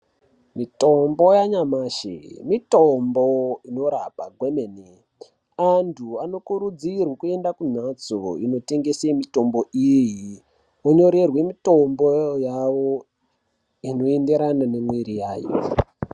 Mitombo yanyamashi mitombo inorapa kwemene. Antu anokurudzirwe kuende kumhatso dzinotengeswe mitombo iyi vonyorerwe mitombo yavo inoenderana nemwiri yavo.